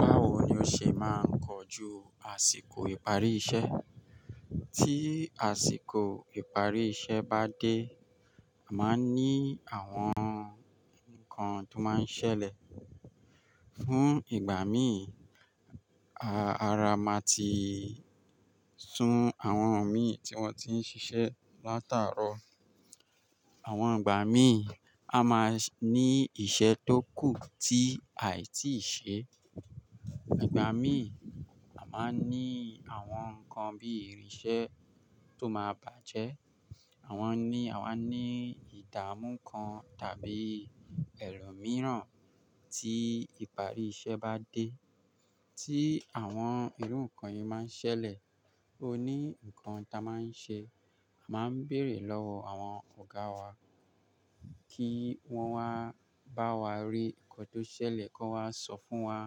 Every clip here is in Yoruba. Báwo ni ó ṣe máa ń kọjú àsìkò ìparí iṣẹ́? Tí àsìkò ìparí iṣẹ́ bá dé, a máa ń ní àwọn ǹkan tó máa ń ṣẹlẹ̀. Fún ìgbà mí, ara máa ti sun àwọn mí tí wọ́n ti ń ṣiṣẹ́ látàárọ̀. Àwọn ìgbà mí, a máa ní iṣẹ́ tó kù tí àì tíì ṣe. Ìgbà mí, a máa ní àwọn nǹkan bí ìrìnsẹ́ tó máa bàjẹ́. Àwọn ní, àwa ní ìdààmú kan tàbí ẹ̀rọ mìíràn tí ìparí iṣẹ́ bá dé. Tí àwọn irú nǹkan yìí máa ń ṣẹlẹ̀, ó ní nǹkan ta máa ń ṣe. A máa ń bèrè lọ́wọ́ àwọn ọ̀gá wa kí wọ́n wá bá wa rí nǹkan tó ṣẹlẹ̀, kó n wá sọ fún wa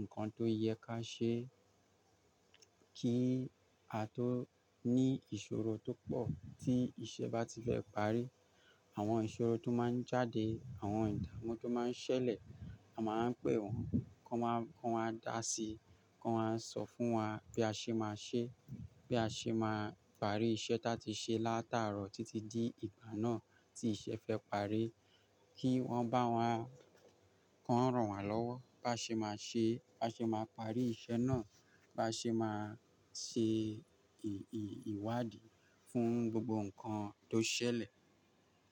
nǹkan tó yẹ ká ṣe kí a tó ní ìṣòro tó pọ̀ tí iṣẹ́ bá ti fẹ́ parí. Àwọn ìṣòro tó máa ń jáde, àwọn ìdààmú tó máa ń ṣẹlẹ̀, a máa wa ń pè wọ́n, kó n wá, kó n wá dá sí i, kó n wá sọ fún wa bí a ṣe máa ṣe, bí a ṣe máa parí iṣẹ́ ta ti ṣe látàárọ̀ títí dí ìgbà náà tí iṣẹ́ fẹ́ parí. Kí wọ́n bá wá kó n rán wa lọ́wọ́ bá ṣe máa ṣe, bá ṣe máa parí iṣẹ́ náà, bá ṣe máa ṣe ìwádìí fún gbogbo nǹkan tó ṣẹlẹ̀.